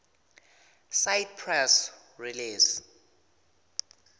cite press release